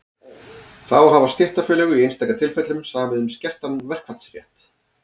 þá hafa stéttarfélög í einstaka tilfellum samið um skertan verkfallsrétt